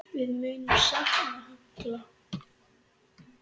Við munum sakna Halla.